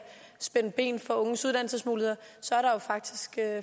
spænde ben for unges uddannelsesmuligheder så er der jo faktisk